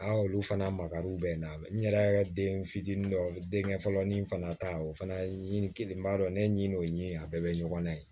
Aa olu fana makari bɛ n na n yɛrɛ den fitinin dɔw denkɛ fɔlɔ ni n fana ta o fana ye nin kelen n b'a dɔn ne ɲin'o ɲini a bɛɛ bɛ ɲɔgɔn na yen